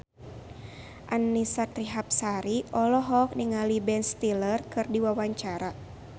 Annisa Trihapsari olohok ningali Ben Stiller keur diwawancara